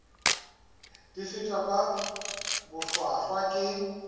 di fetwa ka bohlwahlwa ke